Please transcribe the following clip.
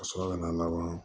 Ka sɔrɔ ka na laban